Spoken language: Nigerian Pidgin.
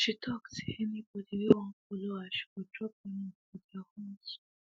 she talk say anybody whey wan follow her she go drop them off for their homes